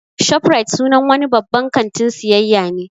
'Shoprite" sunan wani babban kantin siayya ne